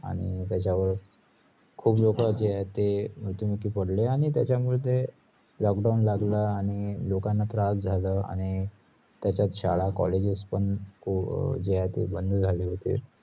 आणी त्याच्यावर खुप लोक जे आहेत ते मृत्यू मुखी पडले आणी त्याचामुले lockdown लागलं आणि लोकना खूप त्रास जाल आणी त्याचात शाळा, colleges पण अह जे आहे ते बंद झाले होते